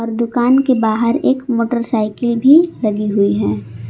दुकान के बाहर एक मोटरसाइकिल भी लगी हुई है।